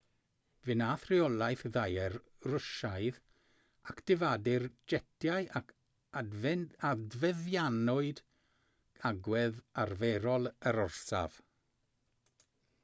fe wnaeth rheolaeth ddaear rwsiaidd actifadu'r jetiau ac adfeddianwyd agwedd arferol yr orsaf